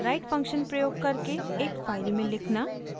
write function प्रयोग करके एक फाइल में लिखना